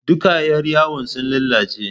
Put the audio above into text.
Duka yar yawon sun lalace